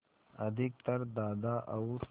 अधिकतर दादा और